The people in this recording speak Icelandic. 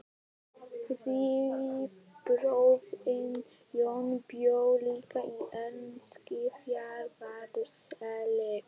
Þriðji bróðirinn, Jón, bjó líka í Eskifjarðarseli.